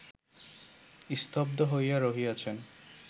স্তব্ধ হইয়া রহিয়াছেন